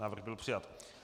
Návrh byl přijat.